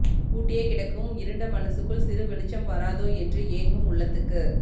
பூட்டியே கிடக்கும் இருண்ட மனசுக்குள் சிறு வெளிச்சம் வராதோ என்று ஏங்கும் உள்ளத்துக்கு